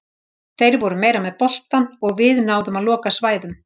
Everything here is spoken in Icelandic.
Þeir voru meira með boltann og við náðum að loka svæðum.